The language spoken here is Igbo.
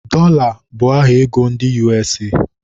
Dọla bụ aha ego ndị USA